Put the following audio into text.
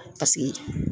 Paseke